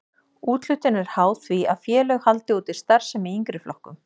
Úthlutun er háð því að félög haldi úti starfsemi í yngri flokkum.